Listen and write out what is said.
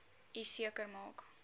u seker maak